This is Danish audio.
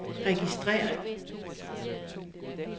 registrér